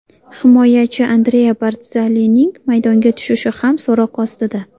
Himoyachi Andrea Bardzalining maydonga tushishi ham so‘roq ostida.